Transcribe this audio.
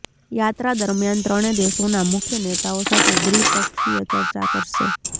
યાત્રા દરમિયાન ત્રણે દેશોના મુખ્ય નેતાઓ સાથે દ્રિપક્ષીય ચર્ચા કરશે